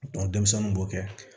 denmisɛnninw b'o kɛ